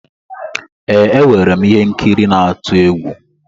Ee, enwere m ihe nkiri n'atu egwu.